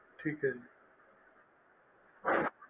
ਠੀਕ ਹੈ ਜੀ